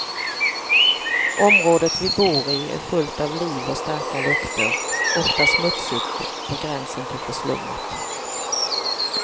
Området vi bor i är fullt av liv och starka lukter, ofta smutsigt, på gränsen till förslummat.